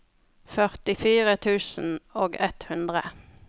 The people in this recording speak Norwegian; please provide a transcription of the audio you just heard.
førtifire tusen og ett hundre